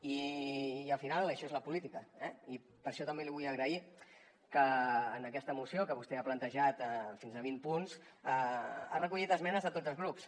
i al final això és la política eh i per això també li vull agrair que en aquesta moció que vostè ha plantejat fins a vint punts hagi recollit esmenes de tots els grups